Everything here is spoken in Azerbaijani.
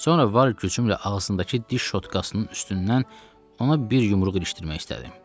Sonra var gücümlə ağzındakı diş şotkasının üstündən ona bir yumruq ilişdirmək istədim.